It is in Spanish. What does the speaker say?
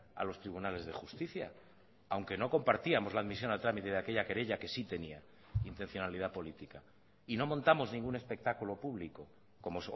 a los tribunales de justicia aunque no compartíamos la admisión a trámite de aquella querella que sí tenía intencionalidad política y no montamos ningún espectáculo público como